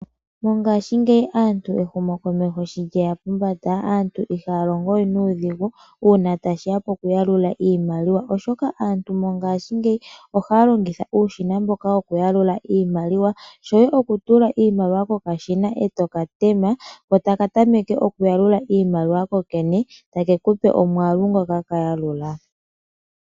Mongaashingeyi aantu, ehumokomeho shi lyeya pombanda aantu ihaya longo we nuudhigu, uuna tashi ya poku yalula iimaliwa, oshoka aantu mongaashingeyi ohaya longitha uushina mboka woku yalula iimaliwa, shoye oku tula iimaliwa kokashina e to ka tema, ko taka tameke oku yalula iimaliwa kokene take ku pe omwaalu ngoka ka yalula.